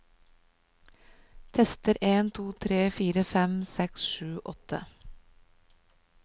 Tester en to tre fire fem seks sju åtte